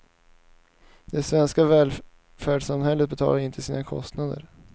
Det svenska välfärdssamhället betalar inte sina kostnader.